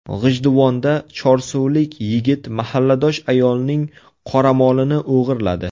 G‘ijduvonda chorsulik yigit mahalladosh ayolning qoramolini o‘g‘irladi.